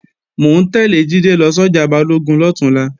Mò ń tẹ́lẹ̀ Jídé lọ sọ́jà Balógun lọ̀túnla